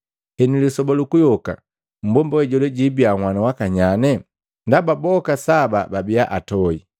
Henu, lisoba lukuyoka mmbomba we jola jibiya nhwanu wakanyanye? Ndaba boka saba babiya antoi.”